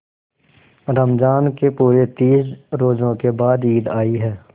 रमज़ान के पूरे तीस रोजों के बाद ईद आई है